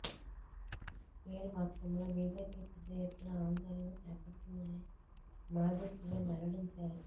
లేనిపక్షంలో BJP పెద్ద ఎత్తున ఆందోళన చేపడుతుందని మాజీ సీఎం వెల్లడించారు